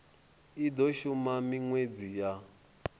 i do shuma minwedzi ya